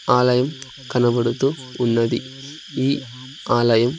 ఆలయం కనబడుతూ ఉన్నది ఈ ఆలయం--